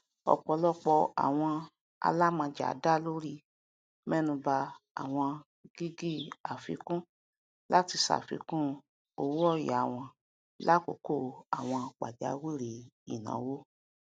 ọpọlọpọ àwọn alamọjá dá lórí mẹnúbà àwọn gígì àfikún láti ṣàfikún owóòyà wọn lákòókò àwọn pàjáwìrì ìnáwó